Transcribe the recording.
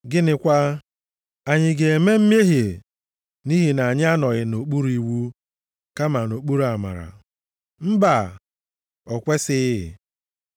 Gịnịkwa? Anyị ga-eme mmehie nʼihi na anyị anọghị nʼokpuru iwu kama nʼokpuru amara? Mba! O kwesighị.